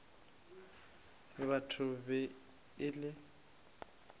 batho e be e le